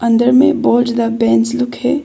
अंदर में बोच द बेंच लुक है।